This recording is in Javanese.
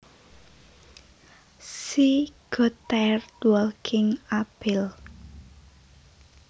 She got tired walking uphill